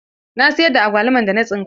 Na siyar da agwaluman da na tsinka.